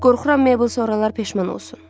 Qorxuram Mabel sonralar peşman olsun.